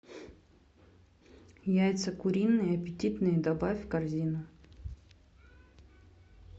яйца куриные аппетитные добавь в корзину